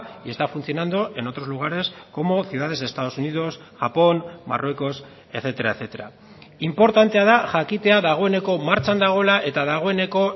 y está funcionando en otros lugares como ciudades de estados unidos japón marruecos etcétera etcétera inportantea da jakitea dagoeneko martxan dagoela eta dagoeneko